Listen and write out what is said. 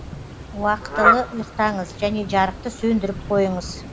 уақытылы ұйықтаңыз және жарықты сөндіріп қойыңыз